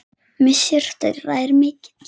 Missir þeirra er mikill.